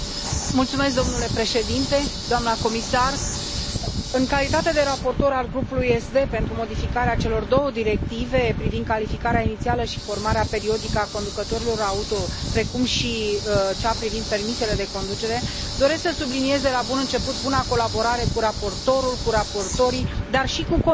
Domnule președinte, doamnă comisar, în calitate de raportor al grupului SD pentru modificarea celor două directive privind calificarea inițială și formarea periodică a conducătorilor auto și privind permisele de conducere, doresc să subliniez de la bun început buna colaborare cu raportorul, cu raportorii, dar și cu Comisia.